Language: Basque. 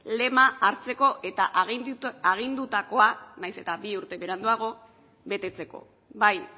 lema hartzeko eta agindutako naiz eta bi urte beranduago betetzeko bai